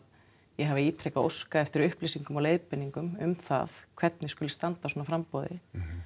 ég hafi ítrekað óskað eftir upplýsingum og leiðbeiningum um það hvernig skuli standa að svona framboði